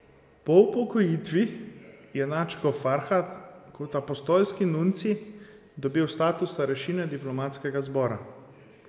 Po upokojitvi je nadškof Farhat kot apostolski nuncij dobil status starešine diplomatskega zbora.